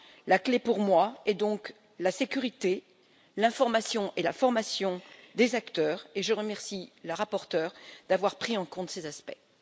La clé, pour moi, est donc la sécurité, l'information et la formation des acteurs, et je remercie la rapporteure d'avoir pris en compte ces aspects.